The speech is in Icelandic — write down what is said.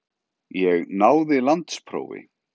Ég náði landsprófi.